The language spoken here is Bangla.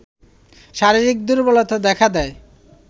শারীরিক দুর্বলতা দেখা দেয়